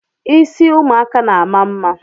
Ịsị ụmụaka na-ama mma